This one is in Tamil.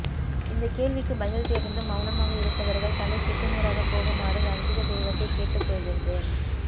இந்தக் கேள்விக்கு பதில் தெரிந்தும் மெளனமாக இருப்பவர்கள் தலை சுக்குநூறாக போகுமாறு ரஞ்சித தெய்வத்தை கேட்டுக் கொள்கின்றேன்